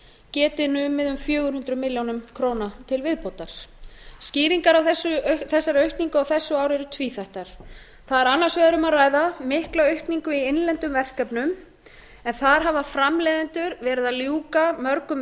geti numið um fjögur hundruð milljóna króna til viðbótar skýringar á þessari aukningu á þessu ári eru tvíþættar þar er annars vegar um að ræða mikla aukningu í innlendum verkefnum en þar hafa framleiðendur verið að ljúka mörgum